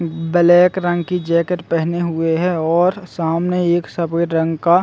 अम्म black रंग की jacket पहने हुए है और सामने एक सफ़ेद रंग का--